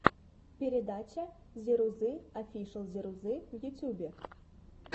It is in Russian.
передача зирузы офишл зирузы в ютюбе